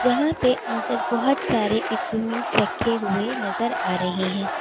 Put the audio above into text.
जहां पे अंदर बहोत सारे इंस्ट्रूमेंट रखे हुए नजर आ रहे हैं।